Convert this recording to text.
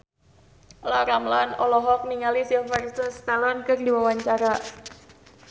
Olla Ramlan olohok ningali Sylvester Stallone keur diwawancara